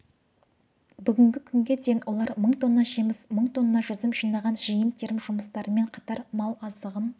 бүгінгі күнге дейін олар мың тонна жеміс мың тонна жүзім жинаған жиын-терім жұмыстарымен қатар мал азығын